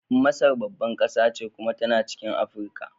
Masar babbar kasa ce kuma tana cikin Afirka.